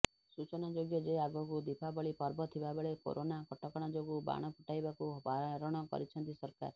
ସୂଚନାଯୋଗ୍ୟ ଯେ ଆଗକୁ ଦୀପାବଳି ପର୍ବ ଥିବାବେଳେ କୋରୋନା କଟକଣା ଯୋଗୁଁ ବାଣ ଫୁଟାଇବାକୁ ବାରଣ କରିଛନ୍ତି ସରକାର